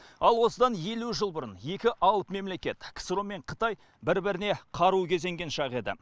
ал осыдан елу жыл бұрын екі алып мемлекет ксро мен қытай бір біріне қару кезенген шақ еді